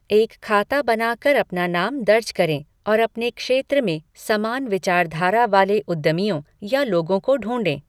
एक खाता बनाकर अपना नाम दर्ज करें और अपने क्षेत्र में समान विचारधारा वाले उद्यमियों या लोगों को ढूंढें।